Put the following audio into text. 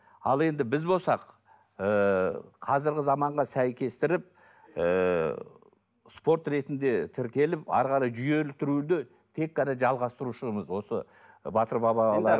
ал енді біз болсақ ы қазіргі заманға сәйкестендіріп ы спорт ретінде тіркеліп әрі қарай жүйелі түрде тек қана жалғастырушымыз осы ы батыр